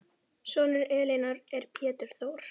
Sonur Elínar er Pétur Þór.